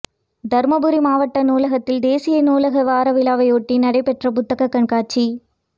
தருமபுரி மாவட்ட நூலகத்தில் தேசிய நூலக வார விழாவையொட்டி நடைபெற்ற புத்தகக் கண்காட்சி